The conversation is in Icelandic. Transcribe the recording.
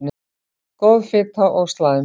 Góð fita og slæm